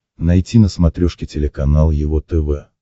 найти на смотрешке телеканал его тв